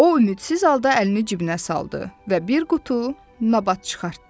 O ümidsiz halda əlini cibinə saldı və bir qutu nabat çıxartdı.